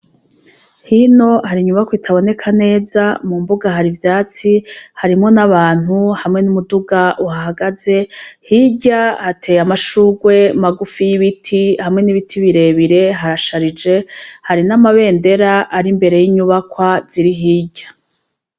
Hino hari inyubakwa itaboneka neza, mu mbuga hari ivyatsi harimwo n'abantu hamwe n'umuduga uhahagaze, hirya hateye amashurwe magufi y'ibiti, hamwe n'ibiti birebire, harasharije hari n'amabendera ari imbere y'inyubakwa ziri hirya.